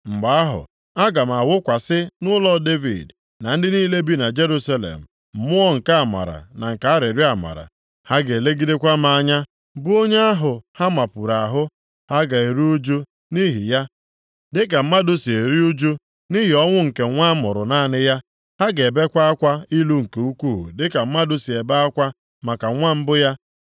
“Mgbe ahụ, aga m awụkwasị nʼụlọ Devid na ndị niile bi na Jerusalem, mmụọ nke amara na nke arịrịọ amara. Ha ga-elegidekwa m anya, bụ onye ahụ ha mapuru ahụ. Ha ga-eru ụjụ nʼihi ya, dịka mmadụ si eru ụjụ nʼihi ọnwụ nke nwa a mụrụ naanị ya. Ha ga-ebekwa akwa ilu nke ukwuu dịka mmadụ sị ebe akwa maka nwa mbụ ya.